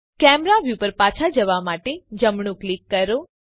camera view પર પાછા જવા માટે જમણું ક્લિક કરો